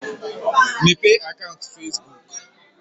Mepee akaụnt Fesbuk!